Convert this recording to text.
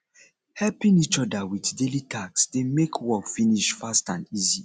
helping each other with daily task de make work finish fast and easy